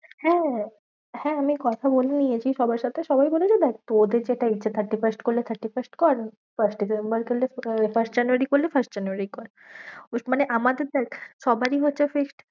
হ্যাঁ, হ্যাঁ আমি কথা বলে নিয়েছি সবার সাথে। সবাই বলেছে দেখ তোদের যেটা ইচ্ছা thirty-first করলে thirty-first কর। first করলে আহ first জানুয়ারী করলে first জানুয়ারী কর। মানে আমাদের দেখ সবারই হচ্ছে fixed